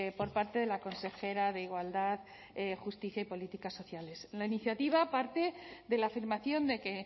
por parte de la consejera de igualdad justicia y políticas sociales la iniciativa parte de la afirmación de que